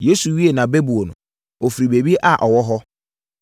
Yesu wiee nʼabɛbuo no, ɔfiri baabi a ɔwɔ hɔ.